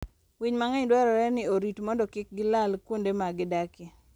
Winy mang'eny dwarore ni orit mondo kik gilal kuonde ma gidakie.